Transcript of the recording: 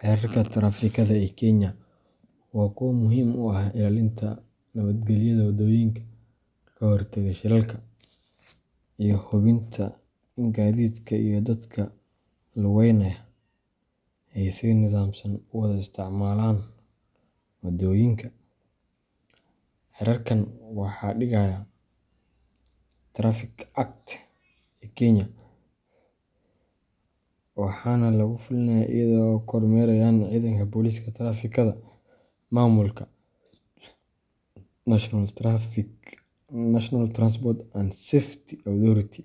Xeerarka taraafikada ee Kenya waa kuwo muhiim u ah ilaalinta nabadgelyada waddooyinka, ka hortagga shilalka, iyo hubinta in gaadiidka iyo dadka lugeynaya ay si nidaamsan u wada isticmaalaan wadooyinka. Xeerarkan waxaa dhigaya Traffic Act ee Kenya, waxaana lagu fuliyaa iyada oo ay kormeerayaan ciidanka booliiska taraafikada, maamulka National Transport and Safety Authority,